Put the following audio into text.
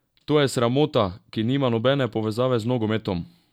To je sramota, ki nima nobene povezave z nogometom!